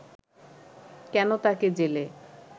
কেন তাকে জেলে